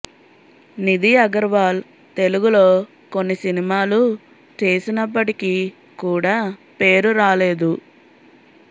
నిది అగర్వాల్ తెలుగులో కొన్ని సినిమాలు చేసినప్పటికీ కూడా పేరు రాలేదు